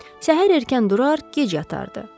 Səhər erkən durar, gec yatardı.